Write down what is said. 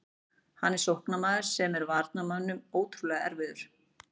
Hann er sóknarmaður sem er varnarmönnum ótrúlega erfiður.